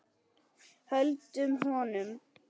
Höldum honum!